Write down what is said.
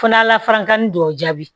Fana lafankan ni dɔw jaabi